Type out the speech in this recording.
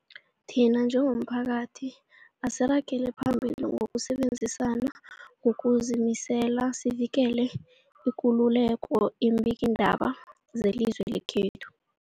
Thina njengomphakathi, asiragele phambili ngokusebenzisana ngokuzimisela sivikele ikululeko yeembikiindaba zelizwe lekhethu.